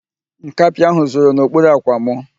Nkapị ahụ zoro n'okpuru ạ̀kwạ̀ mụ.